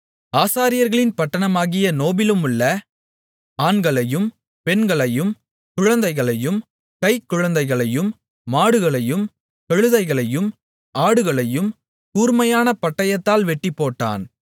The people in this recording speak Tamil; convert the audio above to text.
ஆசாரியர்களின் பட்டணமாகிய நோபிலுமுள்ள ஆண்களையும் பெண்களையும் குழந்தைகளையும் கைக் குழந்தைகளையும் மாடுகளையும் கழுதைகளையும் ஆடுகளையும் கூர்மையான பட்டயத்தால் வெட்டிப்போட்டான்